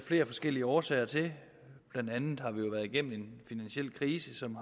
flere forskellige årsager til blandt andet har vi jo været igennem en finansiel krise som